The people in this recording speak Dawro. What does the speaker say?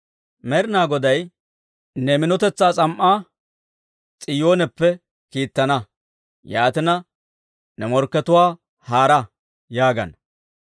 Med'inaa Goday ne minotetsaa s'am"aa S'iyooneppe kiittana; yaatina, «Ne morkkatuwaa moodda!» yaagana.